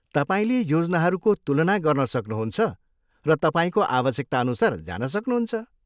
तपाईँले योजनाहरूको तुलना गर्न सक्नुहुन्छ र तपाईँको आवश्यकताअनुसार जान सक्नुहुन्छ।